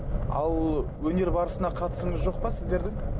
ал өнер барысына қатысыңыз жоқ па сіздердің